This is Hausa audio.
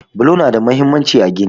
Bulo nada mahimmanci a gini.